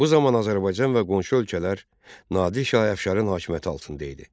Bu zaman Azərbaycan və qonşu ölkələr Nadir şah əfşarın hakimiyyəti altında idi.